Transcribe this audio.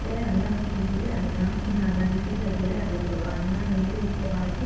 ಇದ್ರೆ, ಅನ್ನ ಉಳ್ದಿದ್ರೆ ಅನ್ನ, ಇಲ್ಲ ಅನ್ನ ಬಿಸೀದ್ ಆಗಿದ್ರೆ ಅದಕ್ ಸ್ವಲ್ಪ ಅನ್ನ ನೀರು, ಉಪ್ಪು ಹಾಕಿ .